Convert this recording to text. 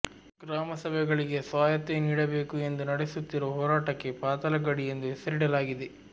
ಗ್ರಾಮಸಭೆಗಳಿಗೆ ಸ್ವಾಯತ್ತೆ ನೀಡಬೇಕು ಎಂದು ನಡೆಸುತ್ತಿರುವ ಹೋರಾಟಕ್ಕೆ ಪಾತಾಳಗಡಿ ಎಂದು ಹೆಸರಿಡಲಾಗಿದೆ